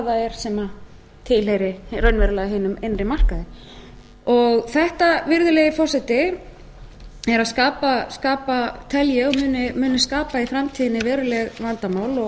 það er sem tilheyrir raunverulega hinum innri markaði þetta tel ég virðulegi forseti að muni skapa í framtíðinni veruleg vandamál og